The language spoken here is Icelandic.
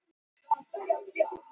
Hækkanir vekja furðu